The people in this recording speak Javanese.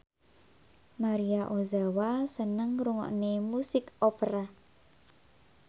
Maria Ozawa seneng ngrungokne musik opera